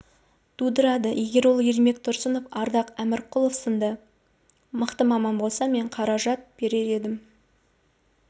тудырады егер ол ермек тұрсынов ардақ әмірқұлов сынды мықты маман болса мен қаражат берер едім